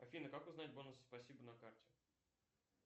афина как узнать бонусы спасибо на карте